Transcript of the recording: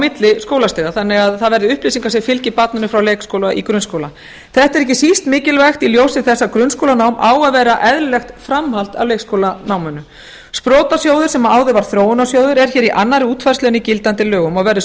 milli skólastiga þannig að það verði upplýsingar sem fylgi barninu frá leikskóla í grunnskóla þetta er ekki síst mikilvægt í ljósi þess að grunnskólanám á að vera eðlilegt framhald af leikskólanáminu sprotasjóður sem áður var þróunarsjóður er hér í annarri útfærslu en í gildandi lögum og verður